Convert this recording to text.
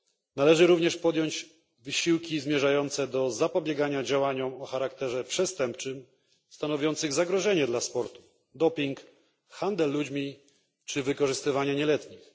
Należy również podjąć wysiłki zmierzające do zapobiegania działaniom o charakterze przestępczym stanowiącym zagrożenie dla sportu dopingowi, handlowi ludźmi czy wykorzystywaniu nieletnich.